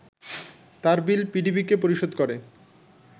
তারবিল পিডিবিকে পরিশোধ করে